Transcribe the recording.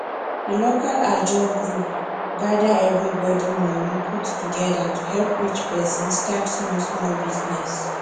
di local ajo group gather everybody moni put together to help each person start smallsmall business